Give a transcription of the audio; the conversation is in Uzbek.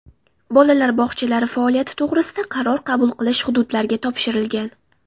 Bolalar bog‘chalari faoliyati to‘g‘risida qaror qabul qilish hududlarga topshirilgan.